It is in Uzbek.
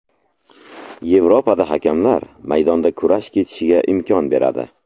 Yevropada hakamlar maydonda kurash kechishiga imkon beradi.